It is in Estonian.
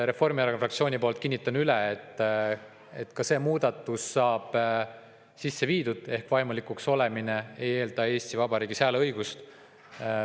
Reformierakonna fraktsiooni poolt kinnitan üle, et ka siin saab muudatus saab sisse viidud ehk vaimulikuks olemine ei eelda Eesti Vabariigis hääleõigust.